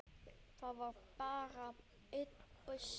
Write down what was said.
Það var bara einn busi!